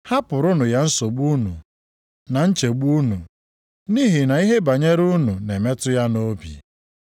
Hapụrụnụ ya nsogbu unu na nchegbu unu, nʼihi na ihe banyere unu na-emetụ ya nʼobi.